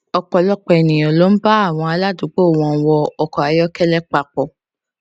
ọpọlọpọ ènìyàn ló ń bá àwọn aládùúgbò wọn wọ ọkọayọkẹlẹ papọ